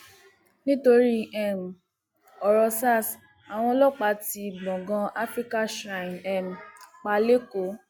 nítorí um ọrọ sars àwọn ọlọpàá tí gbọngàn africa shrine um pa lẹkọọ